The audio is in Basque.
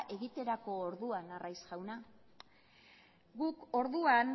egiterako orduan arraiz jauna guk orduan